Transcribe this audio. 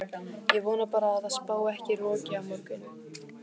Ég vona bara að það spái ekki roki á morgun.